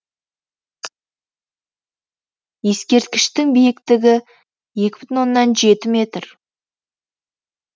ескерткіштің биіктігі екі бүтін оннан жеті метр